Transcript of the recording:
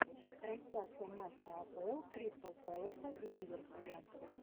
трансляция матча апл кристал пэласа и ливерпуля